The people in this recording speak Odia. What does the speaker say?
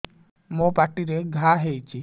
ମୋର ପାଟିରେ ଘା ହେଇଚି